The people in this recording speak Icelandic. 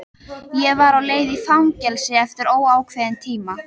Ég var á leið í fangelsi eftir óákveðinn tíma.